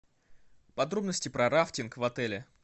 подробности про рафтинг в отеле